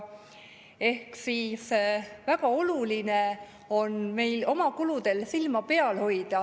Ehk siis väga oluline on meil oma kuludel silma peal hoida.